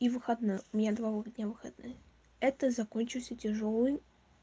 и выходной у меня два вы дня выходных это закончился тяжёлый